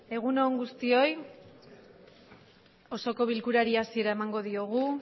egun on guztioi osoko bilkurari hasiera emango diogu